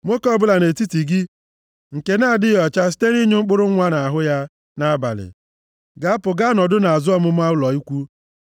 Nwoke ọbụla nʼetiti gị nke na-adịghị ọcha site nʼịnyụ mkpụrụ nwa nʼahụ ya nʼabalị, ga-apụ gaa nọdụ nʼazụ ọmụma ụlọ ikwu.